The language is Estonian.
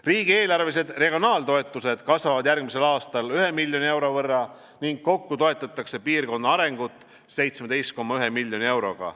Riigieelarvelised regionaaltoetused kasvavad järgmisel aastal ühe miljoni euro võrra ning kokku toetatakse piirkonna arengut 17,1 miljoni euroga.